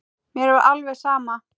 Mér var alveg sama.